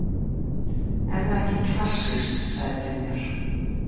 Er það ekki klassískt? sagði Brynjar.